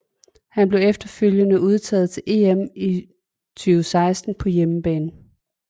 Han blev efterfølgende udtaget til EM i 2016 på hjemmebane